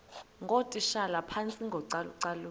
ngootitshala phantsi kocalucalulo